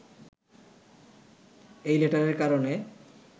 এই লেটারের কারণে